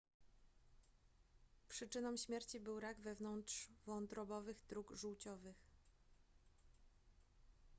przyczyną śmierci był rak wewnątrzwątrobowych dróg żółciowych